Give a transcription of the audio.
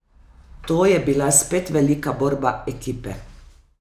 To je bila spet velika borba ekipe.